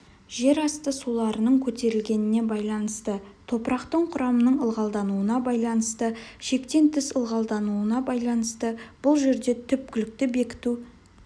жерасты суларының көтерілгеніне байланысты топырақтың құрамының ылғалдануына байланысты шектен тыс ылғалдануына байланысты бұл жерде түпкілікті бекіту